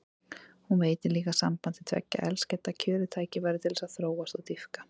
Hún veitir líka sambandi tveggja elskenda kjörið tækifæri til þess að þróast og dýpka.